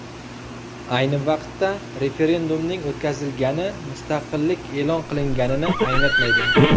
Ayni vaqtda, referendumning o‘tkazilgani mustaqillik e’lon qilinganini anglatmaydi.